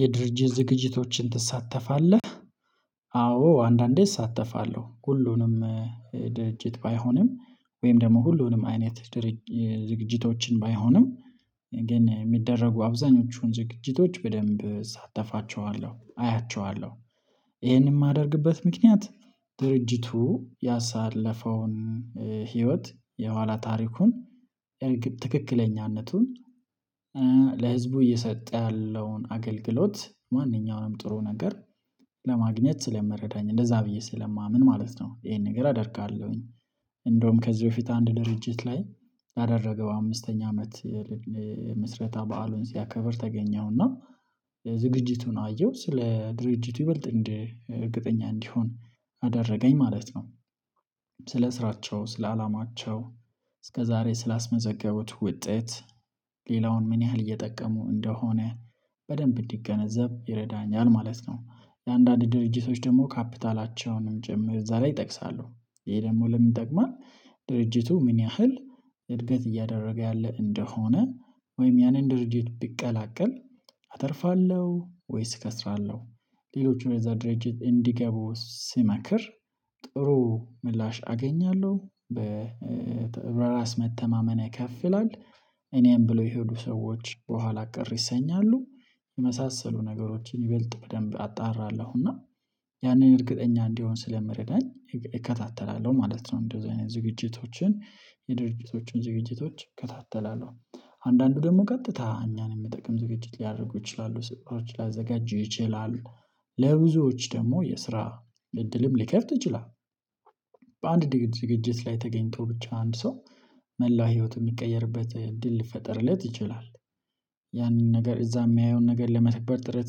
የድርጅት ዝግጅቶችን ትሳተፋለህ? አዎ አንዳንዴ እሳተፋለሁ ሁሉንም ድርጅት ባይሆንም ወይም ደግሞ ሁሉንም አይነት ድርጅት ዝግጅቶችን ባይሆንም ግን የሚደረጉ አብዛኞቹን ዝግጅቶች በደንብ እሳተፋቸዋለሁ አያቸዋለሁ። ይሄንን የማደርግበት ምክንያት ድርጅቱ ያሳለፈውን ህይወት የኋላ ታሪኩን ትክክለኛነቱን ለህዝቡ እየሰጠ ያለውን አገልግሎት ማንኛውንም ጥሩ ነገር ለማግኘት ስለመረዳኝ እንደዛ ብዬ ስለማምን ማለት ነው ይሄን ነገር አደርጋለሁኝ። እንደውም ከዚህ በፊት አንድ ድርጅት ላይ ባደረገው አምስተኛ አመት ምስረታ በዓሉን ሲያከብር ተገኘውና ዝግጅቱን አየሁ ስለ ድርጅቱ ይበልጥ እንዴ ርግጠኛ እንዲሆን አደረገኝ ማለት ነው። ስለ ስራቸው ስለ አላማቸው እስከዛሬ ስላስመዘገቡት ውጤት ሌላውን ምን ያህል እየጠቀሙ እንደሆነ በደንብ እንዲገነዘብ ይረዳኛል ማለት ነው። ለአንዳንድ ድርጅቶች ደግሞ ካፒታላቸውንም ጭምር እዛ ላይ ይጠቅሳሉ ይሄ ደግሞ ለምን ይጠቅማል? ድርጅቱ ምን ያህል እድገት እያደረገ ያለ እንደሆነ ወይም ያንን ድርጅት ቢቀላቀል አተርፋለሁ ወይስ እከስራለሁ? ሌሎቹ የዛ ድርጅት እንዲገቡ ሲመክር ጥሩ ምላሽ አገኛለሁ። በራስ መተማመን ከፍ ይላል እኔም ብለው የሄዱ ሰዎች በኋላ ቅር ይሰኛሉ የመሳሰሉ ነገሮችን ይበልጥ በደንብ አጣራለሁና ያንን እርግጠኛ እንዲሆን ስለመረዳኝ ማለት ነው። እንደዚህ አይነት ዝግጅቶችን የድርጅቶችን ዝግጅቶች እከታተላለሁ አንዳንዱ ደግሞ ቀጥታ እኛን የምጠቅም ዝግጅት ሊያደርጉ ይችላሉ ስጦታዎች ላዘጋጁ ይችላሉ ለብዙዎች ደግሞ የስራ እድልም ሊከፍት ይችላል። በአንድ ዝግጅት ላይ ተገኝቶ ብቻ አንድ ሰው መላው ህይወቱ የሚቀየርበት እድል ሊፈጠርለት ይችላል። ያንን ነገር እዛ የሚያየውን ነገር ለመተገብር ጥረት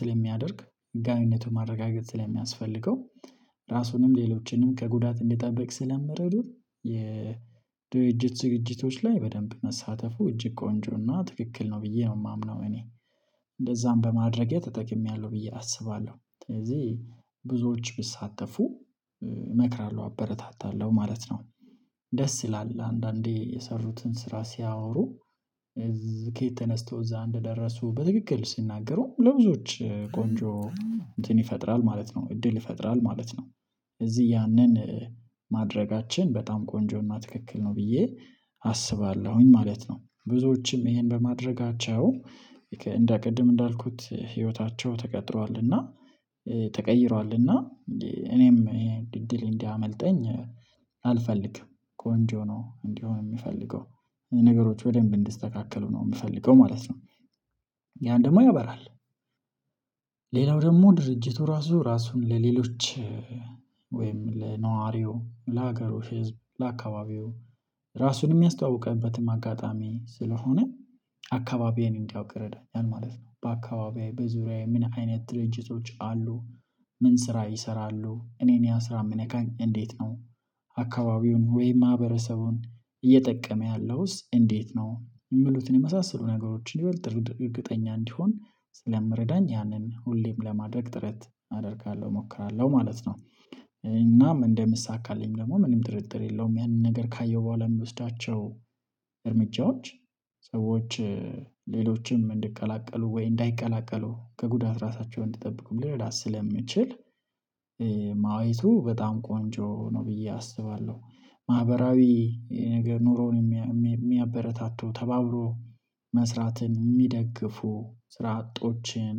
ስለሚያደርግ ህጋዊነቱን ማረጋገጥ ስለሚያስፈልገው ራሱንም ሌሎችንም ከጉዳት እንዲጠብቅ ስለምረዱት የድርጅት ዝግጅቶች ላይ በደንብ መሳተፉ እጅግ ቆንጆና ትክክል ነው ብዬ ነው የማምነው እኔ እንደዛም በማድረጌ ተጠቅሜያለሁ ብዬ አስባለሁ። ስለዚህ ብዙዎች ብትሳተፉ እመክራለሁ አበረታታለሁ ማለት ነው። ደስ ይላል አንዳንዴ የሰሩትን ስራ ሲያወሩ ከየት ተነስተው እዛ እንደደረሱ በትክክል ሲናገሩ ለብዙዎች ቆንጆ እንትን ይፈጥራል ማለት ነው እድል ይፈጥራል ማለት ነው። እዚህ ያንን ማድረጋችን በጣም ቆንጆ እና ትክክል ነው ብዬ አስባለሁኝ ማለት ነው። ብዙዎችም ይሄን በማድረጋቸው እንደ ቅድም እንዳልኩት ህይወታቸው ተቀጥሯልና ተቀይሯልና እኔም ይሄ እድል እንዲያመልጠኝ አልፈልግም ቆንጆ እንዲሆን ነው እንዲሆን የምፈልገው ነገሮች በደንብ እንዲስተካከሉ ነው የምፈልገው ማለት ነው። ያን ደግሞ ያበራል ሌላው ደግሞ ድርጅቱ ራሱ ራሱን ለሌሎች ወይም ለነዋሪው ለሀገሩ ህዝብ ለአካባቢው ራሱን የሚያስተዋውቀበትም አጋጣሚ ስለሆነ አካባቢዬን እንዲያውቅ ይረዳኛል ማለት ነው። በአካባቢዬ በዙሪያዬ ምን አይነት ድርጅቶች አሉ ምን ስራ ይሰራሉ እኔን ያ ስራ የምነካኝ እንዴት ነው? አካባቢውን ወይም ማህበረሰቡን እየጠቀመ ያለውስ እንዴት ነው? የሚሉትን የመሳሰሉ ነገሮችን ይበልጥ ድርጊት እርግጠኛ እንዲሆን ስለሚረዳኝ ያንን ሁሌም ለማድረግ ጥረት አደርጋለሁ እሞክራለሁ ማለት ነው። እናም እንደምሳካልኝ ደግሞ ምንም ጥርጥር የለውም ያንን ነገር ካየሁ በኋላ የምወስዳቸው እርምጃዎች ሰዎች ሌሎችም እንድቀላቀሉ ወይ እንዳይቀላቀሉ ከጉዳት ራሳቸውን እንድጠብቁ ሊረዳ ስለምችል ማየቱ በጣም ቆንጆ ነው። ብዬ አስባለሁ ማህበራዊ ነገር ኑሮውን የሚያበረታቱ ተባብሮ መስራትን የሚደግፉ ስራ አጦችን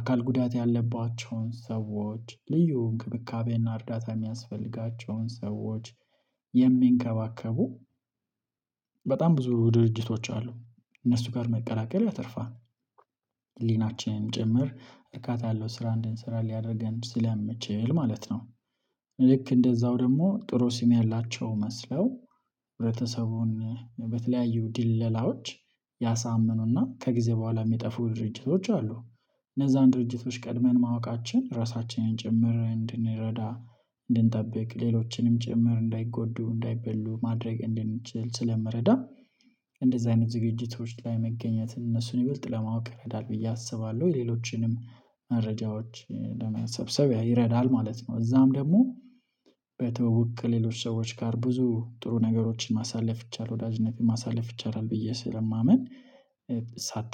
አካል ጉዳት ያለባቸውን ሰዎች ልዩ እንክብካቤና እርዳታ የሚያስፈልጋቸውን ሰዎች የሚንከባከቡ በጣም ብዙ ድርጅቶች አሉ እነሱ ጋር መቀላቀል ያተርፋል። ህሊናችንም ጭምር እርካታ ያለው ስራ እንድንሰራ ሊያደርገን ስለምችል ማለት ነው። ልክ እንደዛው ደግሞ ጥሩ ስም ያላቸው መስለው ህብረተሰቡን በተለያዩ ድለላዎች ያሳምኑና ከጊዜ በኋላ የሚጠፉ ድርጅቶች አሉ። እነዛን ድርጅቶች ቀድመን ማወቃችን ራሳችንን ጭምር እንድንረዳ ሌሎችንም ጭምር እንዳይጎዱ እንዳይበሉ ማድረግ እንድንችል ስለመረዳ እንደዚህ አይነት ዝግጅቶች ላይ መገኘትን እነሱን ይበልጥ ለማወቅ ይረዳል ብዬ አስባለሁ። ሌሎችንም መረጃዎች ለመሰብሰቢያ ይረዳል ማለት ነው። እዛም ደግሞ በትዉውቅ ከሌሎች ሰዎች ጋር ብዙ ጥሩ ነገሮችን ማሳለፍ ይቻል ወዳጅነትን ማሳለፍ ይቻላል ብዬ ስለማምን። ሳታፍ